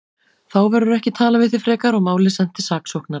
Þá verður ekki talað við þig frekar og málið sent til saksóknara.